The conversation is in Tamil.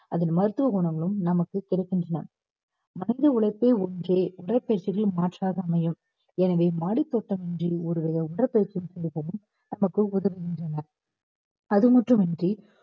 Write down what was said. அதன் மருத்துவ குணங்களும் நமக்கு கிடைக்கின்றன. மனித உழைப்பே ஒன்றே உடற்பயிற்சிகளின் மாற்றாக அமையும் எனவே மாடித்தோட்டம் இன்றி ஒரு வித உடற்பயிற்சி செய்யவும் நமக்கு உதவுகின்றன அது மட்டும் இன்றி